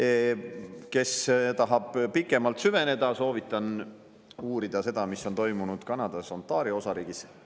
Neil, kes tahavad pikemalt süveneda, soovitan uurida seda, mis on toimunud Kanadas Ontario osariigis.